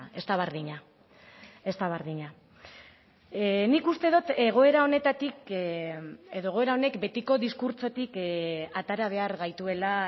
ez da berdina ez da berdina nik uste dut egoera honetatik edo egoera honek betiko diskurtsotik atera behar gaituela